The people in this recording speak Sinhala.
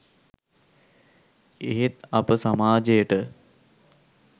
එහෙත් අප සමාජයට